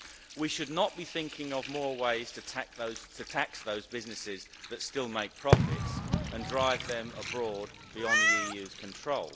We should not be thinking of more ways to tax those businesses that still make profits and drive them abroad beyond the EU's control.